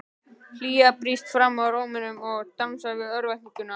Hlýja brýst fram í rómnum og dansar við örvæntinguna.